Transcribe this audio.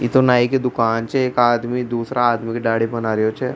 ये तो नाई की दुकान छे एक आदमी दूसरा आदमी का दाढ़ी बना रह छे।